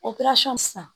O sisan